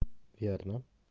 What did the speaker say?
верно